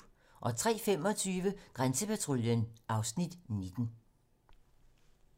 03:25: Grænsepatruljen (Afs. 19)